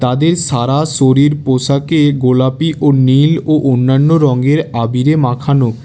তাদের সারা শরীর পোশাকে গোলাপী ও নীল ও অন্যান্য রঙের আবিরে মাখানো।